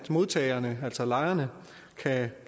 modtagerne altså lejerne